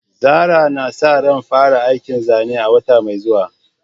Zarah na sa ran fara aikin zanen a wata mai zuwa.